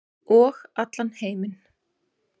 Og allan heiminn.